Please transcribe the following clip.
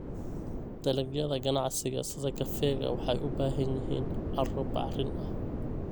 Dalagyada ganacsiga sida kafeega waxay u baahan yihiin carro bacrin ah.